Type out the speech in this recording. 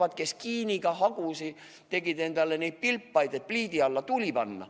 " Aga siin on palju teisigi, kes kiiniga tegid pilpaid, et pliidi alla tuli panna.